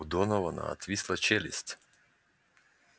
у донована отвисла челюсть